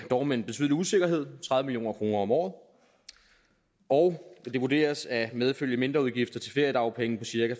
dog med en betydelig usikkerhed tredive million kroner om året og det vurderes at medføre mindre udgifter til feriedagpenge på cirka